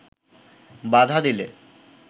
বাধা দিলে